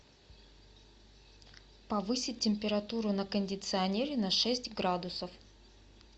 повысить температуру на кондиционере на шесть градусов